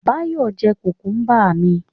Báyọ̀ jẹ́ kùkúmbà mi